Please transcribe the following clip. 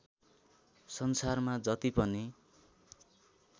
संसारमा जति पनि